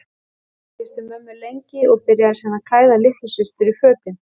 Pabbi kyssti mömmu lengi og byrjaði síðan að klæða litlu systur í fötin.